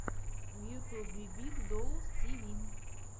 в ютьюбе биг доус ти ви